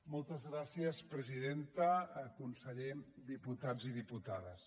moltes gràcies presidenta conseller diputats i diputades